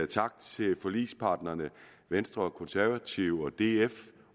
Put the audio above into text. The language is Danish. tak til forligsparterne venstre og konservative og df